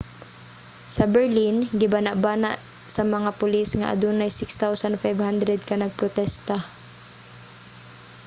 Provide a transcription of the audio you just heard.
sa berlin gibanabana sa mga pulis nga adunay 6,500 ka nagprotesta